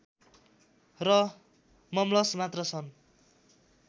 र मम्लस मात्र छन्